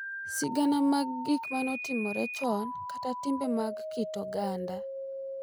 Sigana mag gik ma notimore chon, kata timbe mag kit oganda,